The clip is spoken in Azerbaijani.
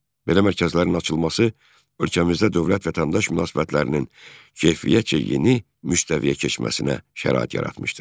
Belə mərkəzlərin açılması ölkəmizdə dövlət-vətəndaş münasibətlərinin keyfiyyətcə yeni müstəviyə keçməsinə şərait yaratmışdır.